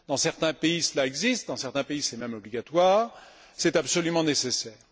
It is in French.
Dans certains pays, cela existe, dans certains pays, c'est même obligatoire, c'est absolument nécessaire.